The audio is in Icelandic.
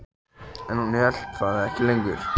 En hún hélt það ekki lengur.